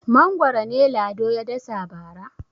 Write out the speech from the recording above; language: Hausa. Mangwaro ne Lado ya dasa bara.